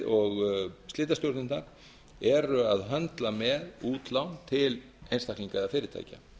og slitastjórnirnar eru að höndla með útlán til einstaklinga eða fyrirtækja